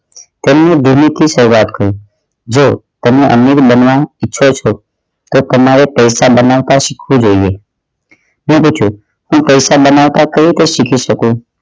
તેમનું દિલ્લી થી શરૂઆત કરું જો એમના અમીર બનવા ઈચ્છો છો તો તમારે પૈસા બનાવતા શીખવું જોઈએ હું પૂછું હું પૈસા બનાવતા કઈ રીતે શીખી શકું